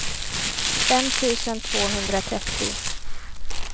fem tusen tvåhundratrettio